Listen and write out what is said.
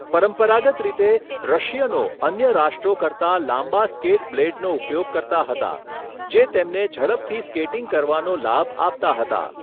પરંપરાગત રીતે, રશિયનો અન્ય રાષ્ટ્રો કરતા લાંબા સ્કેટ બ્લેડનો ઉપયોગ કરતા હતા, જે તેમને ઝડપથી સ્કેટિંગ કરવાનો લાભ આપતા હતા.